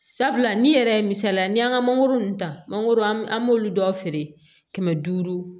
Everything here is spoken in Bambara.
Sabula ni yɛrɛ ye misalila n'i y'an ka mangoro ninnu ta mangoro an b'olu dɔw feere kɛmɛ duuru